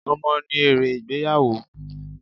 Ọmọ ni ère ìgbéyàwó.